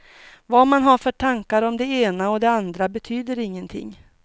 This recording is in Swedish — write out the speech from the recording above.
Vad man har för tankar om det ena och det andra betyder ingenting.